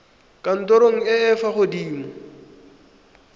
kantorong e e fa gaufi